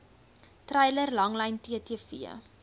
treiler langlyn ttv